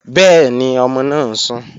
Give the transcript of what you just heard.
Bẹ́ẹ̀ni, ọmọ náà ń sùn